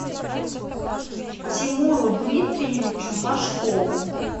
тимуру дмитриевичу машкову